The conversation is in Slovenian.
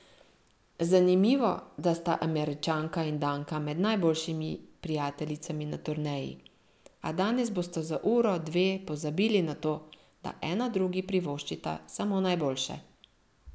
Zanimivo, da sta Američanka in Danka med najboljšimi prijateljicami na turneji, a danes bosta za uro, dve pozabili na to, da ena drugi privoščita samo najboljše.